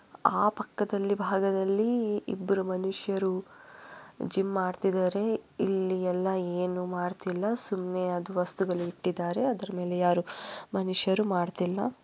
ಆ ಪಕ್ಕದಲ್ಲಿ ಭಾಗದಲ್ಲಿ ಇಬ್ಬರು ಮನುಷ್ಯರು ಜಿಮ್ಮನ್ನ ಮಾಡ್ತಾ ಇದ್ದಾರೆ ಇಲ್ಲಿ ಯಾರು ಜಿಮ್ಮನ್ನ ಮಾಡ್ತಾ ಇಲ್ಲ ಸುಮ್ಮನೆ ಅದು ವಸ್ತುಗಳನ್ನು ಇಟ್ಟಿದ್ದಾರೆ. ಅದ್ರ ಮೇಲೆ ಯಾರು ಮನುಷ್ಯರು ಮಾಡುತ್ತಿಲ್ಲ.